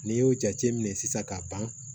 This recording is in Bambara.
N'i y'o jate minɛ sisan ka ban